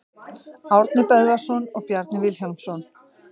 Árni Böðvarsson og Bjarni Vilhjálmsson.